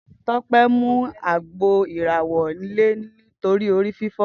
Tope mú àgbó iràwò ilè làná nitóri óri fifò